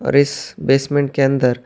اور اس بیسمنٹ کے اندر--